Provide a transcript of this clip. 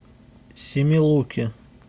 семилуки